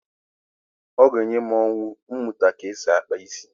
Ọ ga-enye m ọṅụ ịmụta ka e si akpa isi.